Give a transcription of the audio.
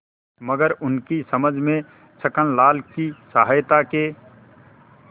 मगर उनकी समझ में छक्कनलाल की सहायता के